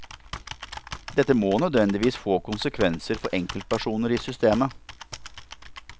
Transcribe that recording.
Dette må nødvendigvis få konsekvenser for enkeltpersoner i systemet.